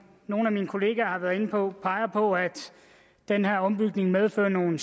nogle af mine kollegaer har været inde på peger på at den her ombygning medfører nogle